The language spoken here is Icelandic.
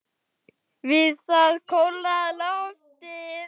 Við það kólnar loftið.